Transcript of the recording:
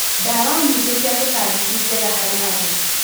Ndawa nyingĩ cia tũtambi ti njega harĩ andũ.